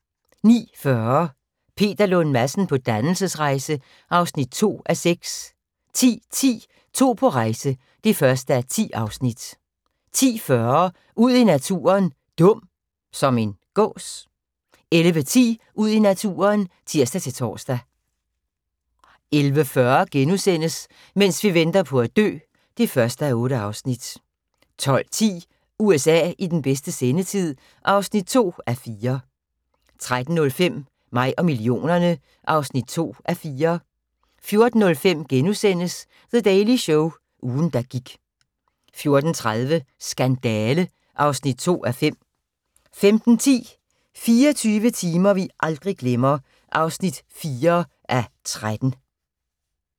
09:40: Peter Lund Madsen på dannelsesrejse (2:6) 10:10: To på rejse (1:10) 10:40: Ud i naturen: Dum – som en gås? 11:10: Ud i naturen (tir-tor) 11:40: Mens vi venter på at dø (1:8)* 12:10: USA i bedste sendetid (2:4) 13:05: Mig og millionerne (2:4) 14:05: The Daily Show – ugen der gik * 14:30: Skandale (2:5) 15:10: 24 timer vi aldrig glemmer (4:13)